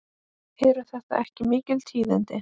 Eru þetta ekki mikil tíðindi?